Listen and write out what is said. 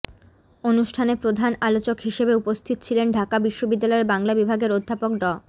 অনুষ্ঠানে প্রধান আলোচক হিসেবে উপস্থিত ছিলেন ঢাকা বিশ্ববিদ্যালয়ের বাংলা বিভাগের অধ্যাপক ড